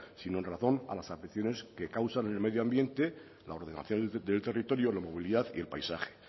sino en razón a las afecciones que causan en el medio ambiente la ordenación del territorio la movilidad y el paisaje